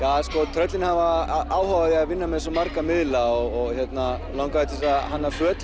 tröllin hafa áhuga á að vinna með svo marga miðla og langaði til að hanna föt